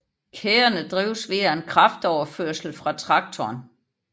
Kæderne drives via en kraftoverførsel af traktoren